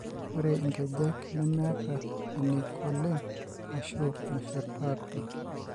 Ore inkejek nemeeta eneiko oleng ashu meshurtaa opi.